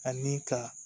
Ani ka